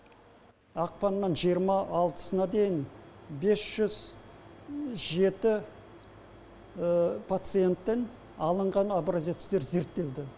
ақпанның жиырма алтысына дейін бес жүз жеті пациенттен алынған образецтер зерттелді